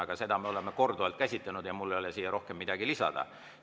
Aga seda me oleme korduvalt käsitlenud ja mul ei ole siia rohkem midagi lisada.